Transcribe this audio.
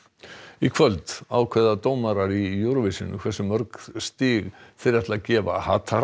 í kvöld ákveða dómarar í Eurovision hversu mörg stig þeir ætla að gefa